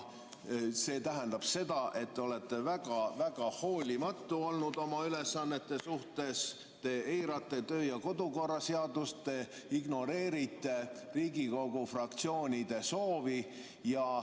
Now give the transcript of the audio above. See tähendab seda, et te olete väga-väga hoolimatu olnud oma ülesannete suhtes, te eirate kodukorraseadust, te ignoreerite Riigikogu fraktsioonide soovi.